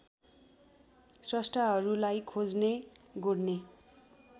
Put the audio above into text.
स्रष्टाहरूलाई खोज्ने गोड्ने